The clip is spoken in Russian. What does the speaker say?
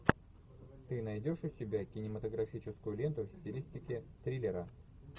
ты найдешь у себя кинематографическую ленту в стилистике триллера